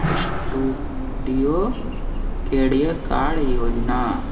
अ studio card योजना --